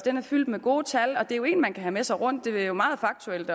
fyldt med gode tal og det er jo en man kan have med sig rundt den er meget faktuel